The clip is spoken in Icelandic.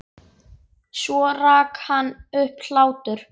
Svo rak hann upp hlátur.